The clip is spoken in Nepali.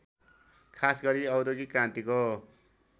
खासगरी औद्योगिक क्रान्तिको